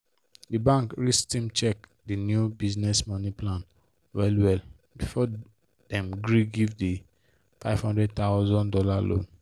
the bank risk team check the new business money plan well well before before dem gree give the fifty thousand dollars0 loan.